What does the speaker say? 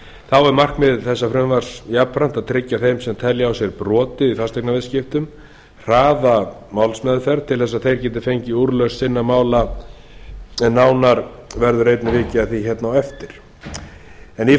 þá er markmið þessa frumvarps jafnframt að tryggja þeim sem telja á sér brotið í fasteignaviðskiptum hraða málsmeðferð til þess að þeir geti fengið úrlausn sinna mála en nánar verður eigi vikið að því hér á eftir en